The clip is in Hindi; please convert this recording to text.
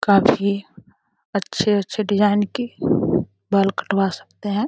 काफी अच्छे अच्छे डिजाईन के बाल कटवा सकते है।